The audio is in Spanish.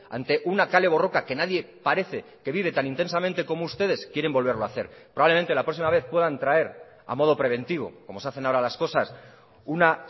ante una kale borroka que nadie parece que vive tan intensamente como ustedes quieren volverlo hacer probablemente la próxima vez puedan traer a modo preventivo como se hacen ahora las cosas una